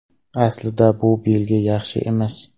Aslida bu belgi yaxshi emas.